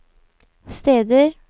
steder